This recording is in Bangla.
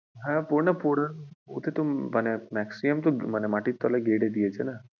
হ্যাঁ পোড়ানো মানে maximum তো মাটির তলায় গেড়ে দিয়েছে না।